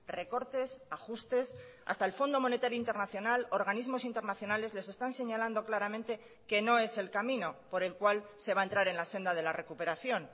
recortes ajustes hasta el fondo monetario internacional organismos internacionales les están señalando claramente que no es el camino por el cual se va a entrar en la senda de la recuperación